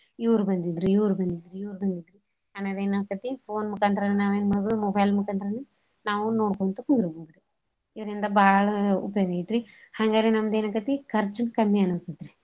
ಇವ್ರ್ ಬಂದಿದ್ರು ಇವ್ರ್ ಬಂದಿದ್ರು ಇವ್ರ್ ಬಂದಿದ್ರು ಅನ್ನೋದ್ ಎನ್ ಅಕ್ಕೆತಿ phone ಮುಕಾಂತ್ರಾನ ನಾವೇನ್ ಮಾಡ್ಬೋದು mobile ಮುಕಾಂತ್ರಾನ ನಾವು ಕುಂಡ್ರಬೋದು. ಇದ್ರಿಂದ ಬಾಳ ಉಪಯೋಗ್ ಐತ್ರೀ ಹಂಗಾರ ನಮ್ದ ಎನಾಕೇತಿ ಖರ್ಚು ಕಮ್ಮಿ ಅನ್ಸ್ತೇತ್ ರಿ.